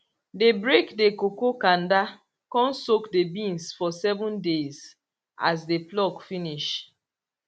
dey break the cocoa kanda con soak the beans for seven days as dey pluck finish